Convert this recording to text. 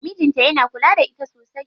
Mijin ta yana kula da ita sosai.